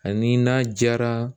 Ani n'a diyara